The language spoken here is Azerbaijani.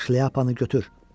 Şlyapanı götür.